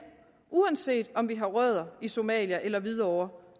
uanset om vi har rødder i somalia eller hvidovre